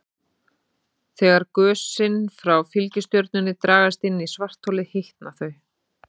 Þegar gösin frá fylgistjörnunni dragast inn í svartholið hitna þau.